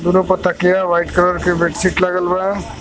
दोनो पर तकिया बा एक कलर के बेडशीट लगल बा।